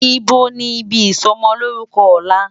Ibó ni ibi isòmòmòlórùkò òlá?